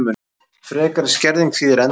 Frekari skerðing þýðir endalok